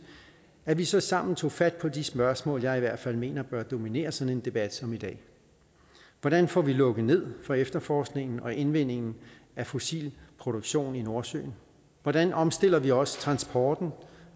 at vi så sammen tog fat på de spørgsmål jeg i hvert fald mener bør dominere sådan en debat som i dag hvordan får vi lukket ned for efterforskningen og indvindingen af fossil produktion i nordsøen hvordan omstiller vi også transporten